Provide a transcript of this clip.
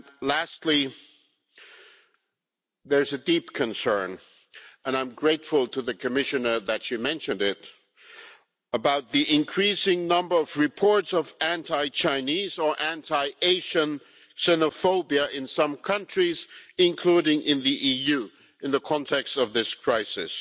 Lastly, there is a deep concern and I am grateful to the Commissioner that she mentioned it about the increasing number of reports of anti-Chinese or anti-Asian xenophobia in some countries, including in the EU, in the context of this crisis.